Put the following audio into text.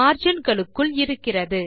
margin களுக்குள் இருக்கிறது